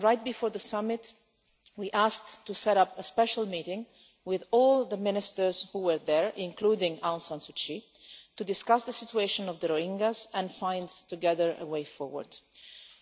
Right before the summit, we asked to set up a special meeting with all the ministers who were there, including Aung San Suu Kyi, to discuss the situation of the Rohingyas and to find a way forward together.